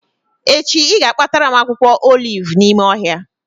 Echi ị ga-akpatara m akwụkwọ olivu n'ime ohịa